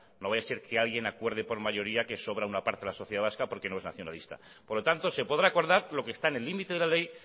no vaya a ser que alguien acuerde por mayoría que sobre una parte de la sociedad vasca porque no es nacionalista por lo tanto se podrá acordar lo que está en el límite de la ley